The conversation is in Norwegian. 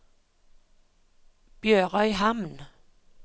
BjørØyhamn